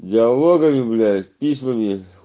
диалогами блять письмами